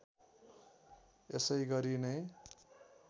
यसै गरी नै